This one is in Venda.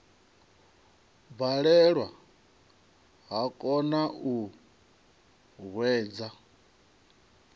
balelwa vha kona u hwedza